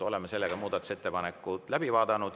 Oleme muudatusettepaneku läbi vaadanud.